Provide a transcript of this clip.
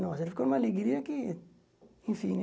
Nossa, ficou uma alegria que... Enfim, né?